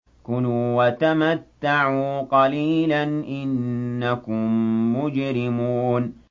كُلُوا وَتَمَتَّعُوا قَلِيلًا إِنَّكُم مُّجْرِمُونَ